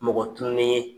Mɔgɔ tunni ye